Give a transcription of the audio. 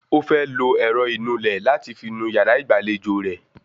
Ó fẹ́ lo ẹ̀rọ ìnulẹ̀ láti fi nu yàrá ìgbàlejò rẹ